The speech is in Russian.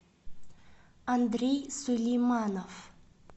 андрей сулейманов